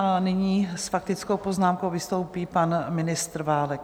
A nyní s faktickou poznámkou vystoupí pan ministr Válek.